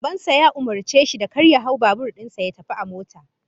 Baban sa ya umurce shi da kar ya hau babur din sa, ya tafi a mota